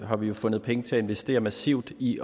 har vi fundet penge til at investere massivt i